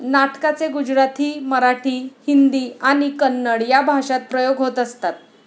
नाटकाचे गुजराथी, मराठी, हिंदी आणि कन्नड या भाषांत प्रयोग होत असतात.